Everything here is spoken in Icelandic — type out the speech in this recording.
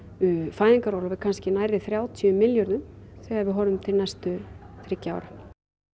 fæðingarorlof er kannski nærri þrjátíu milljörðum þegar við horfum til næstu þriggja ára